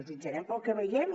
jutjarem pel que vegem